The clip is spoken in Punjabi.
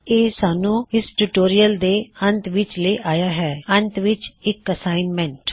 ਇਹ ਸਾਨੂੰ ਇਸ ਟਿਊਟੋਰਿਯਲ ਦੇ ਅੰਤ ਵਿੱਚ ਲੈ ਆਇਆ ਹੇ ਅੰਤ ਵਿੱਚ ਇੱਕ ਅੱਸਾਈਨਮੈਂਟ